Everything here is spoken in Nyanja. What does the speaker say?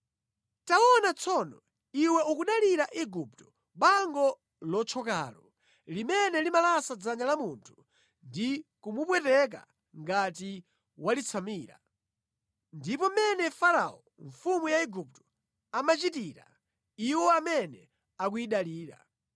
Taona tsono, iwe ukudalira Igupto, bango lothyokalo, limene limalasa mʼmanja mwa munthu ngati waliyesa ndodo yoyendera! Umo ndi mmene Farao mfumu ya ku Igupto imachitira aliyense amene akuyidalira.’ ”